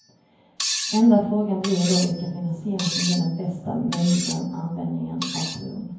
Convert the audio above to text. Enda frågan blir då vilken finansiering som ger den bästa möjligen användningen av bron.